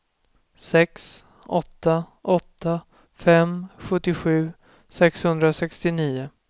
sex åtta åtta fem sjuttiosju sexhundrasextionio